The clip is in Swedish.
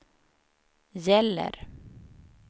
gäller